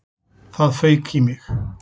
Það fauk í mig.